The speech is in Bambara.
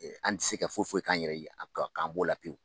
An tɛ se ka foyi foyi k'an yɛrɛ ye k'an n'o la pewu